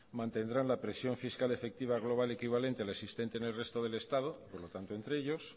mantendrán la presión fiscal efectiva global equivalente a la existente en el resto del estado por lo tanto entre ellos